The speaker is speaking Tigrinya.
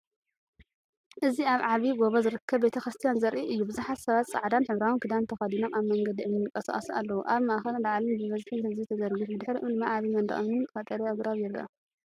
እዚ ኣብ ዓብይ ጎቦ ዝርከብ ቤቴክርስትያን ዘርኢ እዩ። ብዙሓት ሰባት፡ ጻዕዳን ሕብራዊን ክዳን ተኸዲኖም፡ ኣብ መንገዲ እምኒ ይንቀሳቐሱ ኣለዉ። ኣብ ማእከልን ላዕልን ብብዝሒ ህዝቢ ተዘርጊሑ፡ ብድሕሪኦም ድማ ዓቢ መንደቕ እምንን ቀጠልያ ኣግራብን ይረአ።